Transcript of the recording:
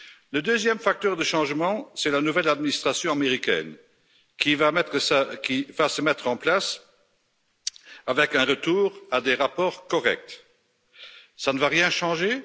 Le deuxième facteur de changement, c'est la nouvelle administration américaine qui va se mettre en place, avec un retour à des rapports corrects ça ne va rien changer?